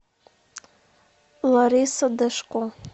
лариса дашко